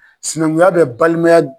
Sinankunya bɛ balimaya